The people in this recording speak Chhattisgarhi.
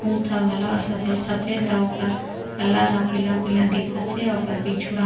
ऊँट हा घला सफ़ेद सफ़ेद अउ ओकर कलर ह पीला पीला दिखते हे अउ ओकर पीछू डाहर--